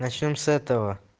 начнём с этого